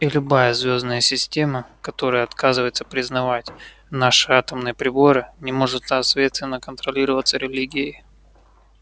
и любая звёздная система которая отказывается признавать наши атомные приборы не может соответственно контролироваться религией